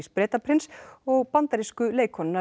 Bretaprins og bandarísku leikkonunnar